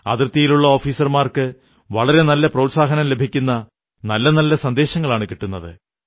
അതിർത്തിയിലുള്ള ഓഫീസർമാർക്ക് വളരെ പ്രോത്സാഹനം ലഭിക്കുന്ന നല്ല നല്ല സന്ദേശങ്ങളാണു കിട്ടുന്നത്